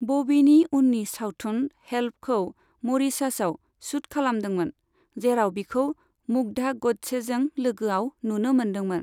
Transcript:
बबीनि उननि सावथुन 'हेल्प'खौ मरिशासआव शुट खालामदोंमोन, जेराव बिखौ मुग्धा ग'डसेजों लोगोआव नुनो मोनदोंमोन।